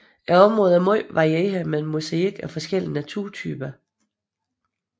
Området er meget varieret med en mosaik af forskellige naturtyper